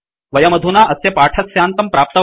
वयमधुना अस्य पाठस्यान्तं प्राप्तवन्तः